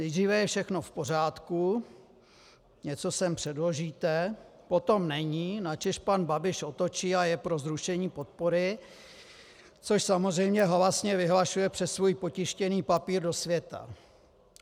Nejdříve je všechno v pořádku, něco sem předložíte, potom není, načež pan Babiš otočí a je pro zrušení podpory, což samozřejmě halasně vyhlašuje přes svůj potištěný papír do světa.